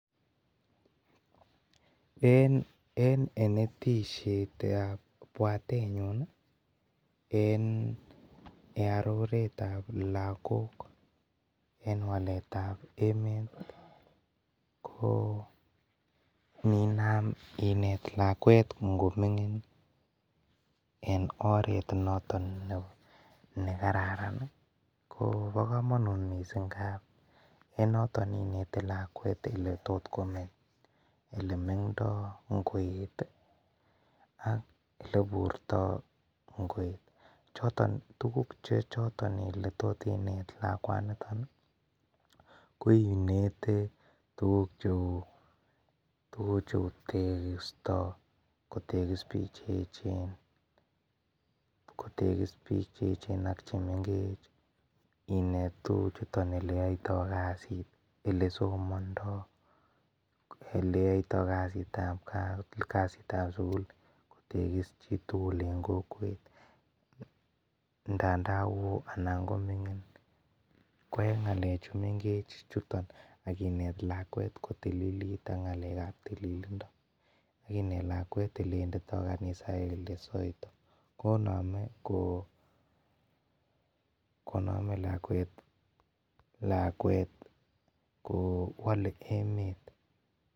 En enetishetab bwatenyun en earoretab lakok en waletab emet ii koo ininam inet lakwek ngomingin en oret noton nekararan bokomonut missing ngap en noton inet lakwet ele tot komeng'ndo koet ak oleburto ngoet choton tukuk chechoton ile tot inet lakwanito koinet tutk cheu tekisto kotekis biik che echen , kotekis biik che echen ak chemengech, inet tukuchuto eleyoito kasit ,elesomondoo, eleyoito kasitab gaa, kasitab sukul kotekis chitugul en kokwet ndandan woo ana koming'in, ko en ngalechun mengech chuton akinet lakwet kotililit ak ng'alekab tililindo akinet lakwet elewendido kanisa ak ele saito konome lakwet koo wole emet.